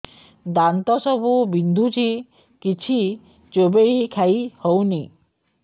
ଦାନ୍ତ ସବୁ ବିନ୍ଧୁଛି କିଛି ଚୋବେଇ ଖାଇ ହଉନି